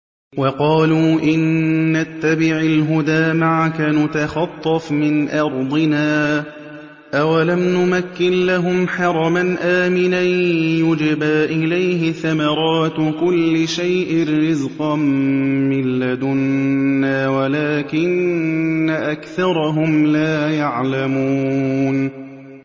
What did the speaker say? وَقَالُوا إِن نَّتَّبِعِ الْهُدَىٰ مَعَكَ نُتَخَطَّفْ مِنْ أَرْضِنَا ۚ أَوَلَمْ نُمَكِّن لَّهُمْ حَرَمًا آمِنًا يُجْبَىٰ إِلَيْهِ ثَمَرَاتُ كُلِّ شَيْءٍ رِّزْقًا مِّن لَّدُنَّا وَلَٰكِنَّ أَكْثَرَهُمْ لَا يَعْلَمُونَ